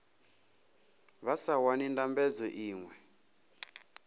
vha sa wani ndambedzo iṅwe